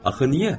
Axı niyə?